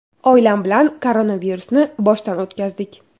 Oilam bilan koronavirusni boshdan o‘tkazdik.